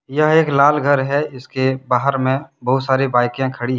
यह एक लाल घर है इसके बहार में बहुत सारी बाइके खड़ी है।